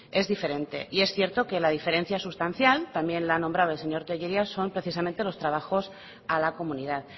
es diferente y es cierto que la diferencia sustancial también la ha nombrado el señor tellería son precisamente los trabajos a la comunidad